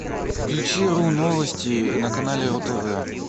включи ру новости на канале ру тв